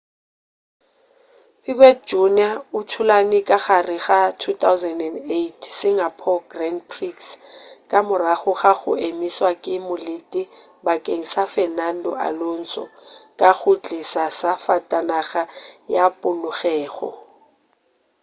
piquet jr o thulane ka gare ga 2008 singapore grand prix ka morago ga go emišwa ke molete bakeng sa fernando alonso ka go tliša safatanaga ya polokego